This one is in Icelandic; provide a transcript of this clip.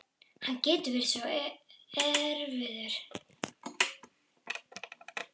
Hann getur verið svo erfiður